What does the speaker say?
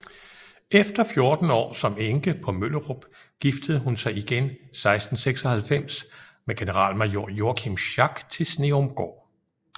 Efter 14 år som enke på Møllerup giftede hun sig igen 1696 med generalmajor Joachim Schack til Sneumgård